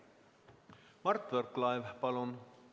Mart Võrklaev, palun!